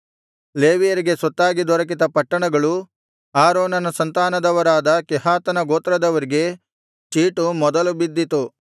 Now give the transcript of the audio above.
ಲೇವಿಯರಿಗೆ ಸ್ವತ್ತಾಗಿ ದೊರಕಿದ ಪಟ್ಟಣಗಳು ಆರೋನನ ಸಂತಾನದವರಾದ ಕೇಹಾತನ ಗೋತ್ರದವರಿಗೆ ಚೀಟು ಮೊದಲು ಬಿದ್ದಿತು